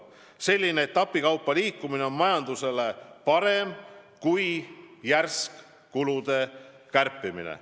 Selline etapikaupa liikumine on majandusele parem kui järsk kulude kärpimine.